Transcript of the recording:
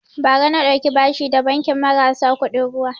Bara na ɗauki bashi da banki marasa kuɗin ruwa